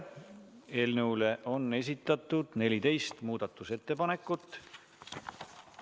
Eelnõu kohta on esitatud 14 muudatusettepanekut.